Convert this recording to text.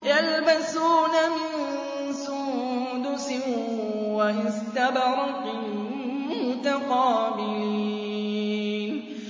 يَلْبَسُونَ مِن سُندُسٍ وَإِسْتَبْرَقٍ مُّتَقَابِلِينَ